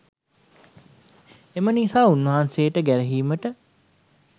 එම නිසා උන්වහන්සේට ගැරහීමට